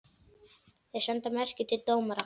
Þeir senda merki til dómara.